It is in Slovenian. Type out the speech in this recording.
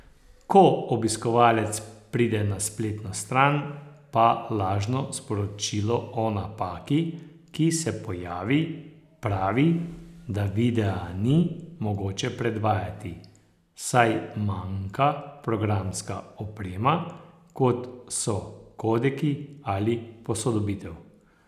Ko obiskovalec pride na spletno stran, pa lažno sporočilo o napaki, ki se pojavi, pravi, da videa ni mogoče predvajati, saj manjka programska oprema kot so kodeki ali posodobitev.